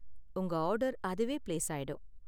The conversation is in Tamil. உங்க ஆர்டர் அதுவே பிளேஸ் ஆயிடும்.